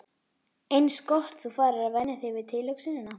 Eins gott þú farir að venja þig við tilhugsunina.